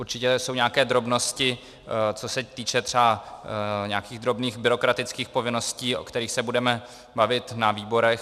Určitě jsou nějaké drobnosti, co se týče třeba nějakých drobných byrokratických povinností, o kterých se budeme bavit na výborech.